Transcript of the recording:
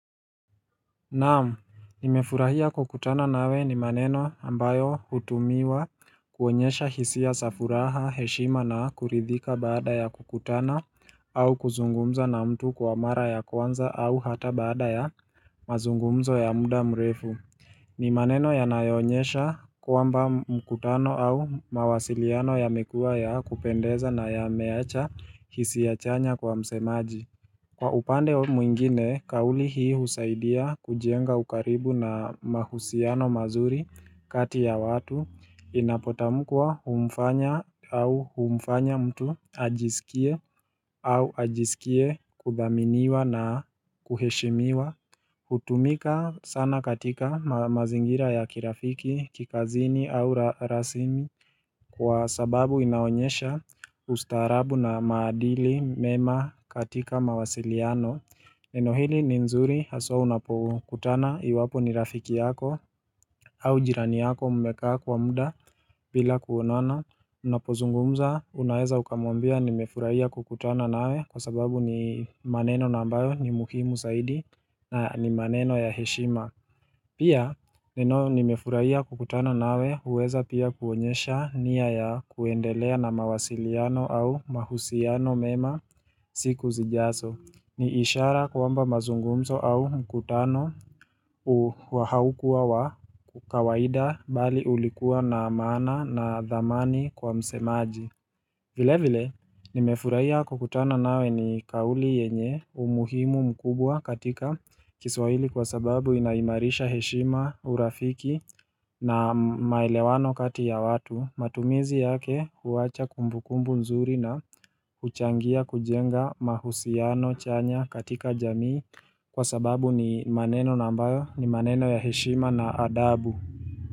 Naam, nimefurahia kukutana nawe ni maneno ambayo hutumiwa kuonyesha hisia za furaha, heshima na kuridhika baada ya kukutana au kuzungumza na mtu kwa mara ya kwanza au hata baada ya mazungumzo ya muda mrefu. Ni maneno yanayoonyesha kwamba mkutano au mawasiliano yamekuwa ya kupendeza na yameacha hisia chanya kwa msemaji. Kwa upande ho mwingine, kauli hii husaidia kujenga ukaribu na mahusiano mazuri kati ya watu inapotamkwa humfanya au humfanya mtu ajisikie au ajisikie kudhaminiwa na kuheshimiwa. Hutumika sana katika ma mazingira ya kirafiki, kikazini au ra rasimi. Kwa sababu inaonyesha ustaarabu na maadili mema katika mawasiliano Neno hili ni nzuri haswa unapokutana iwapo ni rafiki yako au jirani yako mmekaa kwa muda bila kuonana Unapozungumza unaeza ukamwambia nimefurahia kukutana nawe kwa sababu ni maneno na ambayo ni muhimu saidi na ni maneno ya heshima Pia neno nimefurahia kukutana nawe huweza pia kuonyesha nia ya kuendelea na mawasiliano au mahusiano mema siku zijaso. Ni ishara kwamba mazungumzo au mkutano u wa haukuwa wa kawaida bali ulikuwa na maana na dhamani kwa msemaji. Vile vile nimefurahiya kukutana nawe ni kauli yenye umuhimu mkubwa katika kiswahili kwa sababu inaimarisha heshima, urafiki na maelewano kati ya watu matumizi yake huwacha kumbukumbu nzuri na huchangia kujenga mahusiano chanya katika jamii kwa sababu ni maneno na ambayo ni maneno ya heshima na adabu.